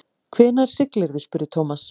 Hvenær siglirðu? spurði Thomas.